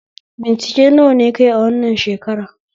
Bincike nawa ne kayi a wannan shakara?